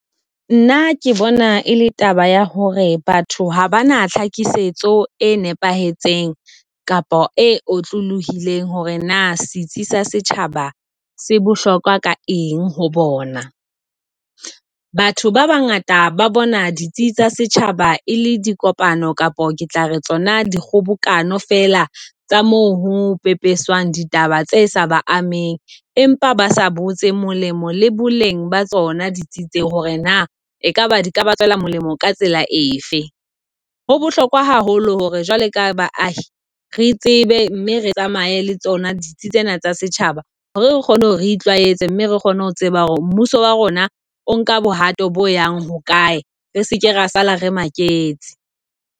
Nna ke bona ele taba ya hore batho ha ba na tlhakisetso e nepahetseng kapa e otlolohileng hore na setsi sa setjhaba se bohlokwa ka eng ho bona. Batho ba bangata ba bona ditsi tsa setjhaba e le dikopano kapo ke tla re tsona di kgobokano fela tsa moo hopepeswang ditaba tse sa ba ameng, empa basa botse molemo le boleng ba tsona ditsi tse hore na ekaba di ka ba tswela molemo ka tsela efe. Ho bohlokwa haholo hore jwale ka baahi re tsebe, mme re tsamaye le tsona ditsi tsena tsa setjhaba hore re kgone ho re itlwaetse, mme re kgone ho tseba hore mmuso wa rona o nka bohato bo yang hokae, re seke ra sala re make tse.